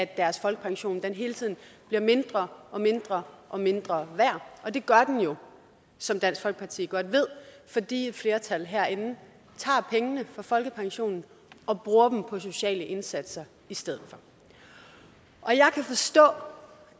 deres folkepension hele tiden bliver mindre og mindre og mindre værd og det gør den jo som dansk folkeparti godt ved fordi et flertal herinde tager pengene fra folkepensionen og bruger dem på sociale indsatser i stedet for jeg kan forstå